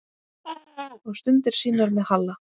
Og stundir sínar með Halla.